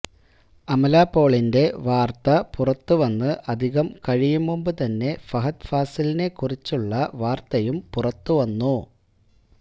അമല പോളിന്റെ വാര്ത്ത പുറത്ത് വന്ന് അധികം കഴിയും മുമ്പ് തന്നെ ഫഹദ് ഫാസിലിനെ കുറിച്ചുള്ള വാര്ത്തയും പുറത്ത് വന്നു